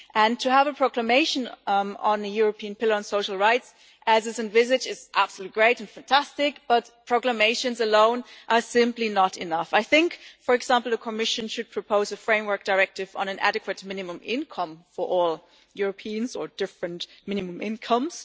To have a proclamation on the European Pillar on Social Rights, as is envisaged, is absolutely great and fantastic but proclamations alone are simply not enough. I think, for example, that the Commission should propose a framework directive on an adequate minimum income for all Europeans or different minimum incomes.